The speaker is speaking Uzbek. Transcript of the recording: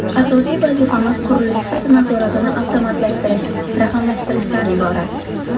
Asosiy vazifamiz qurilish sifati nazoratini avtomatlashtirish, raqamlashtirishdan iborat”.